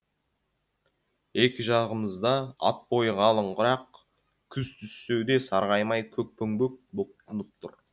екі жағымызда ат бойы қалың құрақ күз түссе де сарғаймай көкпеңбек боп тұнып тұр